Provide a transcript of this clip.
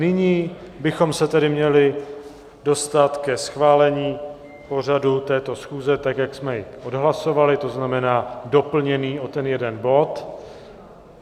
Nyní bychom se tedy měli dostat ke schválení pořadu této schůze, tak jak jsme jej odhlasovali, to znamená doplněný o ten jeden bod.